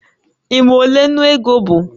Ị ma ole ńnú ego bụ?